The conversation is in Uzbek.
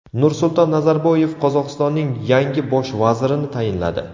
Nursulton Nazarboyev Qozog‘istonning yangi Bosh vazirini tayinladi.